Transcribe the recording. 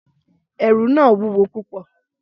Ẹrù náà wúwo púpọ̀.